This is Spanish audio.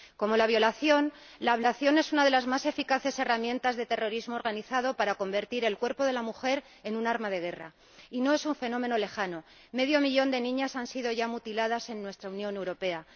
Como la violación, la ablación es una de las más eficaces herramientas de terrorismo organizado para convertir el cuerpo de la mujer en un arma de guerra, y no es un fenómeno lejano medio millón de niñas han sido ya mutiladas en nuestra Unión Europea.